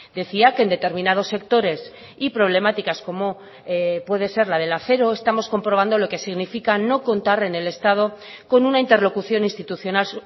decía que en determinados sectores y problemáticas como puede ser la del acero estamos comprobando lo que significa no contar en el estado con una interlocución institucional